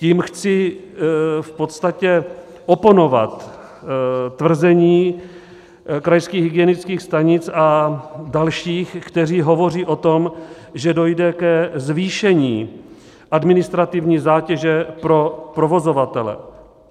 Tím chci v podstatě oponovat tvrzení krajských hygienických stanic a dalších, kteří hovoří o tom, že dojde ke zvýšení administrativní zátěže pro provozovatele.